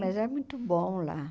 Mas é muito bom lá.